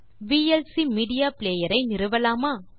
VLC media player ஐ நிறுவலாமா